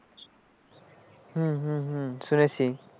হম হম হম শুনেছি,